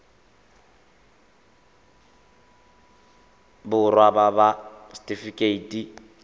borwa ba ba ts setifikeite